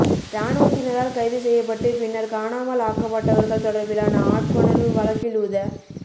இராணுவத்தினரால் கைது செய்யப்பட்டு பின்னர் காணாமல் ஆக்கப்பட்டவர்கள் தொடர்பிலான ஆட்கொணர்வு வழக்கில் உத